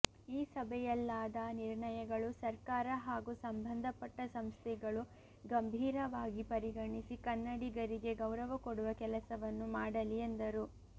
ಈ ಸಭೆಯಲ್ಲಾದ ನಿರ್ಣಯಗಳು ಸರ್ಕಾರ ಹಾಗೂ ಸಂಬಂಧಪಟ್ಟ ಸಂಸ್ಥೆಗಳು ಗಂಭೀರವಾಗಿ ಪರಿಗಣಿಸಿ ಕನ್ನಡಿಗರಿಗೆ ಗೌರವ ಕೊಡುವ ಕೆಲಸವನ್ನು ಮಾಡಲಿ ಎಂದರು